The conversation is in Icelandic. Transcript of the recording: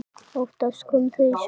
Oftast komu þau í svefni.